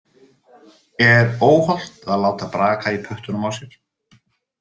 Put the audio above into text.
Er óhollt að láta braka í puttunum á sér?